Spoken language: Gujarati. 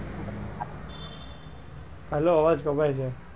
હેલ્લો અવાજ કપાય છે?